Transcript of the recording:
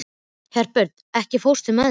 Herbjört, ekki fórstu með þeim?